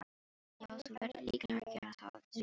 Já, þú verður líklega að gera það, því miður.